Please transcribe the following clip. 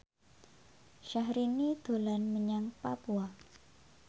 Syahrini dolan menyang Papua